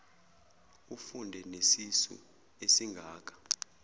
ufunde nesisu esingaka